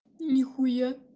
нихуя